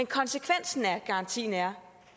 konsekvensen af garantien er